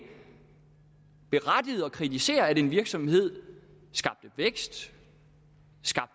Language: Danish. berettiget at kritisere at en virksomhed skaber vækst